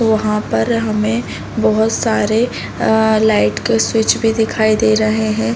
वहाँ पर हमें बोहोत सारे अ लाइट का स्विच भी दिखाई दे रहे हैं।